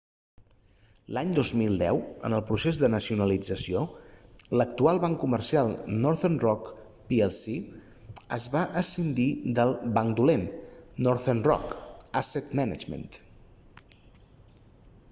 l'any 2010 en el procés de nacionalització l'actual banc comercial northern rock plc es va escindir del banc dolent northern rock asset management